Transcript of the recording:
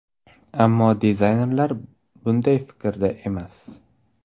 Ammo dizaynerlar bunday fikrda emas!